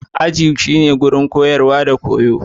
Aji shine wurin koyarwa da koyo.